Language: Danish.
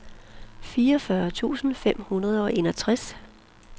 fireogfyrre tusind fem hundrede og enogtres